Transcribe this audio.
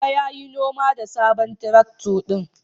Baba ya yi noma da sabon traktor ɗin.